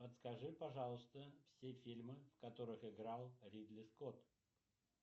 подскажи пожалуйста все фильмы в которых играл ридли скотт